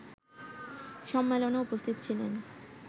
সম্মেলনে উপস্থিত ছিলেন